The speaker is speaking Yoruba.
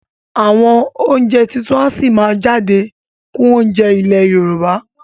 Àwọn oúnjẹ tuntun a sì máa jáde kún oúnjẹ ilé Yorùbá